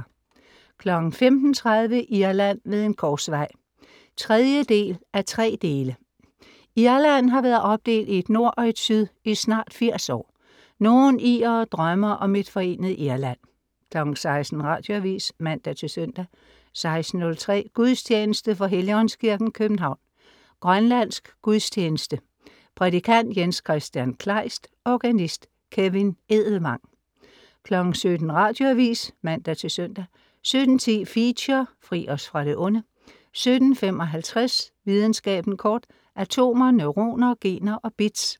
15.30 Irland ved en korsvej 3:3. Irland har været opdelt i et nord og et syd i snart 80 år. Nogle irere drømmer om et forenet Irland 16.00 Radioavis (man-søn) 16.03 Gudstjeneste. fra Helligåndskirken, København. Grønlandsk gudstjeneste. Prædikant: Jens-Kristian Kleist. Organist: Kevin Edelvang 17.00 Radioavis (man-søn) 17.10 Feature: Fri os fra det onde 17.55 Videnskaben kort. Atomer, neuroner, gener og bits